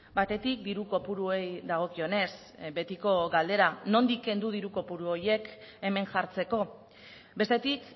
batetik diru kopuruei dagokionez betiko galdera nondik kendu diru kopuru horiek hemen jartzeko bestetik